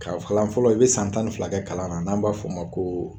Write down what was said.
Ka kalan fɔlɔ i be san tan ni fila kɛ kalan na n'an b'a f'o ma ko